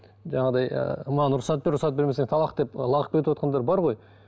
жаңағыдай ыыы маған рұқсат бер рұқсат бермесең талақ деп лағып кетівотқандар бар ғой